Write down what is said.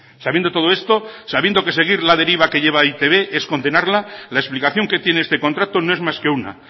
sabiendo todo esto sabiendo que seguir la deriva que lleva e i te be es condenarla la explicación que tiene este contrato no es más que una